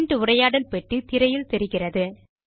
print உரையாடல் பெட்டி திரையில் தோன்றுகிறது